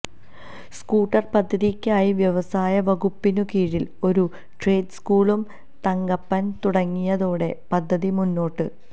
scooter പദ്ധതിക്കായി വ്യവസായ വകുപ്പിനു കീഴിൽ ഒരു ട്രേഡ് സ്കൂളും തങ്കപ്പൻ തുടങ്ങിയതോടെ പദ്ധതി മുന്നോട്ട്